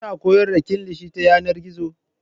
Kina koyar da kilishi ta yanar gizo?